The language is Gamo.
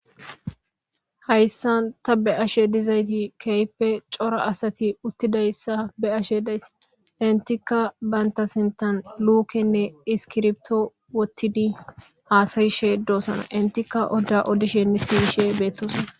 hayssa ta be7ashe dizayti keype cora asati uttidayssa beashe daysse intika baynta sintan luukenne iskirbto wottidi haasayishe doosana intikka odda odishenni siyishe beettosana